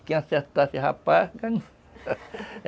Quem acertasse e